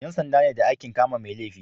Yan sanda ne da aikin kama mai laifi